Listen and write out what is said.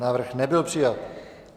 Návrh nebyl přijat.